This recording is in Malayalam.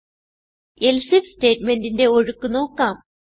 എൽസെ ഐഎഫ് സ്റ്റേറ്റ് മെന്റിന്റെ ഒഴുക്ക് നോക്കാം